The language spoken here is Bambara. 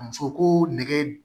Muso koo nɛgɛ